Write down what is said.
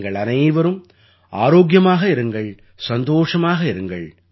நீங்கள் அனைவரும் ஆரோக்கியமாக இருங்கள் சந்தோஷமாக இருங்கள்